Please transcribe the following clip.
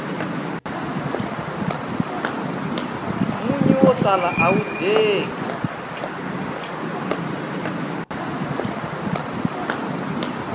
munyu wo tala awu dyeki